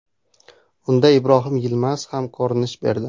Unda Ibrohim Yilmaz ham ko‘rinish berdi.